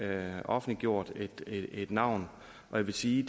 have offentliggjort et navn jeg vil sige